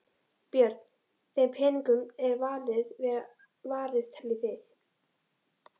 Björn: Þeim peningum er vel varið teljið þið?